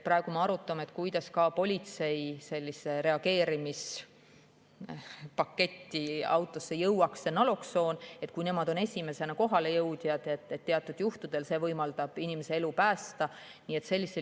Praegu me arutame, kuidas ka politsei reageerimispaketti autos jõuaks see naloksoon, sest nemad on esimesena kohale jõudjad ja teatud juhtudel see võimaldab inimese elu päästa.